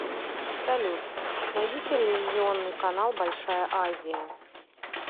салют найди телевизионный канал большая азия